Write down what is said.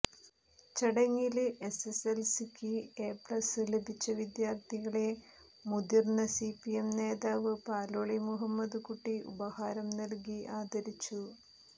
ചടങ്ങില് എസ്എസ്എ ല്സിക്ക് എ പ്ലസ് ലഭിച്ച വിദ്യാര്ഥികളെ മുതിര്ന്ന സിപിഎം നേതാവ് പാലോളി മുഹമ്മദ്കുട്ടി ഉപഹാരം നല്കി ആദരിച്ചു